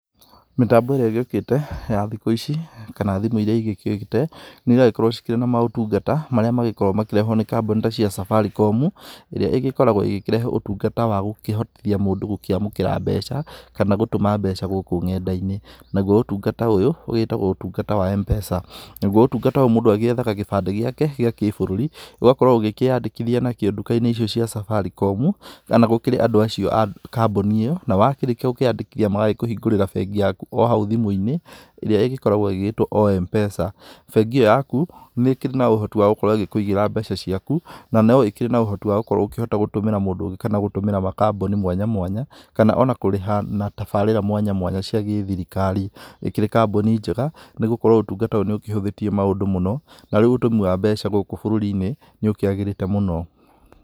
Mĩtambo ĩrĩa ĩgĩũkĩte ya thikũ ici kana thimũ iria ĩgĩũkĩte nĩ ĩragĩkorwo cikĩrĩ na maũtungata marĩa magĩkoragwo makĩrehwo nĩ kambuni ta cia Safaricom ĩrĩa ĩgĩkoragwo ĩgĩkĩrehe ũtungata wa gũkũhotithia mũndũ gũkĩamũkĩra mbeca kana gũtũma mbeca gũkũ ng'enda-inĩ. Naguo ũtungata ũyũ ũgĩtagwo ũtungata wa Mpesa naguo ũtungata ũyũ mũndũ agĩethaga gĩbandĩ gĩake gĩa kĩbũrũri ũgakorwo ũgĩkĩyandĩkithia nakĩo nduka-inĩ icio cia Safaricom kana gũkĩrĩ andũ acio a kambuni ĩno. Na wakĩrĩkia gũkĩyandĩkithia magagĩkũhingũrĩra bengi yaku o hau thimũ-inĩ ĩrĩa ĩgĩkoragwo ĩgĩtwo o Mpesa . Bengi ĩyo yaku nĩkĩrĩ na ũhoti wa gũkorwo ĩgĩkũigĩra mbeca ciaku na no ĩkĩrĩ na ũhoti wa gũkorwo ũkĩhota gũtũmĩra mũndũ ũngĩ kana gũtũmĩra kambuni mwanya mwanya kana ona kũrĩha na tabarĩra mwanya mwanya cia gĩthirikari. Ĩkĩrĩ kambuni njega nĩgũkorwo ũtungata ũyũ nĩ ũkĩhũthĩtie maũndũ mũno, na rĩu ũtũmi wa mbeca gũkũ bũrũri-inĩ nĩũkiagĩrĩte mũno.